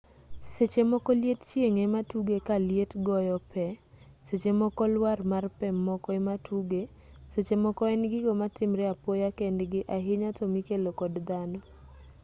sechemoko liet chieng' ematuge kaliet goyo pee sechemoko lwar mar pee moko ematuge sechemoko en gigo matimre apoya kendgi ahinya tomikelo kod dhano